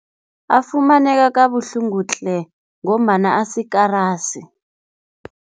Afumaneka kabuhlungu tle ngombana asikarasi.